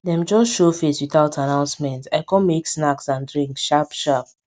dem just show face without announcement i com make snacks and drink sharp sharp